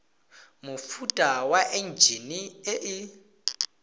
mofuta wa enjine e e